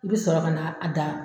I bi sɔrɔ ka na a da